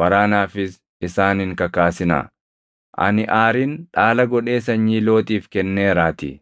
waraanaafis isaan hin kakaasinaa. Ani Aarin dhaala godhee sanyii Looxiif kenneeraatii.”